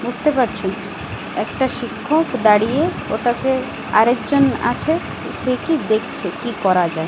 বুঝতে পারছি একটা শিক্ষক দাঁড়িয়ে ওটাকে আর একজন আছে সে কি দেখছে কী করা যায়।